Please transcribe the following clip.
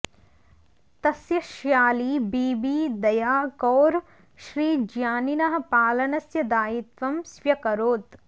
तस्य श्याली बीबी दया कौर श्रीज्ञानिनः पालनस्य दायित्वं स्व्यकरोत्